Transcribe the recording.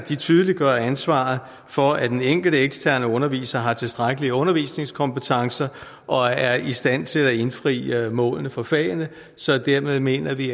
tydeliggøres ansvaret for at den enkelte eksterne underviser har tilstrækkelige undervisningskompetencer og er i stand til at indfri målene for fagene så dermed mener vi